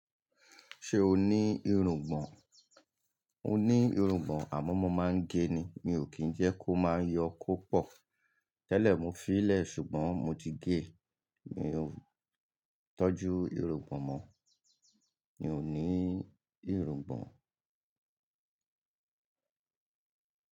Ṣé o ní irùngbọ̀n? Mo ní irùngbọ̀n àmọ́ mo máa ń gé e ni. Mi ò kí ń jẹ́ kó máa yọ kó pọ̀. Tẹ́lẹ̀ mo fi í lẹ̀ ṣùgbọ́n mo ti gé e. Mi ò tọ́jú irùngbọ̀n mọ́. Mi ò ní irùngbọ̀n.